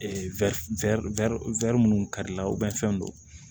wirin wir wirin kari la fɛn don